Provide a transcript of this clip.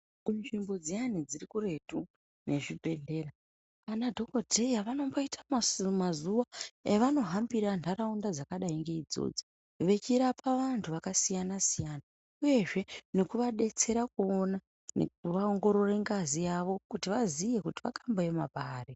Kunzvimbo dziyane dziri kuretu nezvibhehlera ,anadhokoteya vanomboita mazuva avanohambira kunharaunda dzakadai ngeidzodzo vechirapa vantu vakasiyana siyana uyezve nekuvadetsera kuona kuvaongorora ngazi yawo kuti vaziye kuti vakamboema pari.